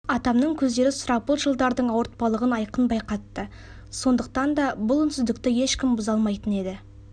атамның көздері сұрапыл жылдардың ауырпалығын айқын байқатты сондықтан да бұл үнсіздікті ешкім бұза алмайтын еді